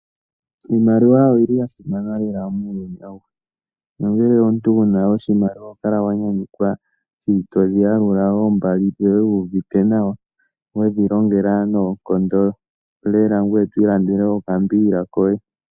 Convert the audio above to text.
Iimaliwa oyili yasimana lela muuyuni awuhe, nangele omuntu wuna oshimaliwa ohokala wanyanyukwa shotoyi yalula oombali dhoye wu uvite nawa, wedhi longela noonkondo lela ngoye to ilandele okambiila koye.